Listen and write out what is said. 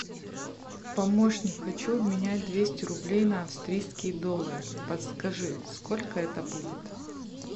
помощник хочу обменять двести рублей на австрийские доллары подскажи сколько это будет